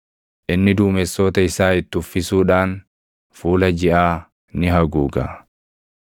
Inni duumessoota isaa itti uffisuudhaan fuula jiʼaa ni haguuga.